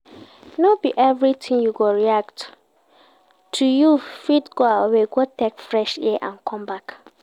No be everything you go react to you fit go away go take fresh air come back